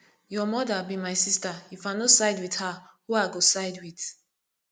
your mother be my sister if i no side with her who i go side with